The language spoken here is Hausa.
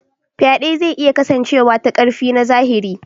Faɗe zai iya kasancewa ta ƙarfi na zahiri.